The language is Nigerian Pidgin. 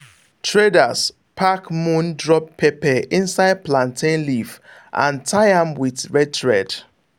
traders pack moon drop pepper inside plantain leaf and tie am with red thread.